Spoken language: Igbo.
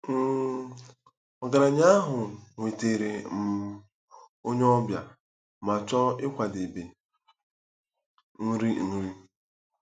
um Ọgaranya ahụ nwetara um onye ọbịa ma chọọ ịkwadebe nri. nri.